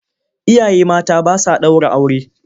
Iyaye mata ba sa ɗaura aure.